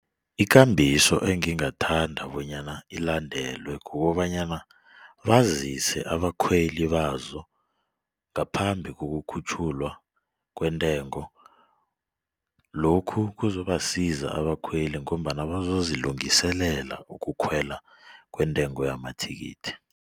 Ikambiso engingathanda bonyana ilandelwe kukobanyana bazise abakhweli bazo ngaphambi kokukhutjhulwa kwentengo. Lokhu kuzobasiza abakhweli ngombana bazozilungiselela ukukhwela kwentengo yamathikithi.